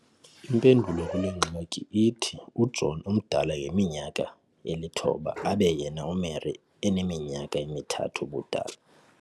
Impendulo kule ngxaki ithi uJohn umdala ngeminyaka eli-9 abe yena uMary eneminyaka emi-3 ubudala.